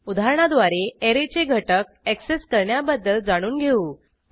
उदाहरणाद्वारे ऍरेचे घटक ऍक्सेस करण्याबद्दल जाणून घेऊ